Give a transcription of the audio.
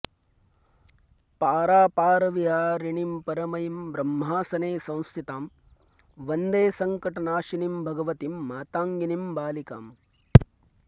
पारापारविहारिणीं परमयीं ब्रह्मासने संस्थितां वन्दे सङ्कटनाशिनीं भगवतीं मातङ्गिनीं बालिकाम्